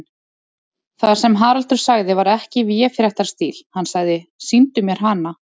Það sem Haraldur sagði var ekki í véfréttarstíl, hann sagði: Sýndu mér hana.